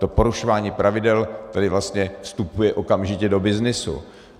To porušování pravidel tady vlastně vstupuje okamžitě do byznysu.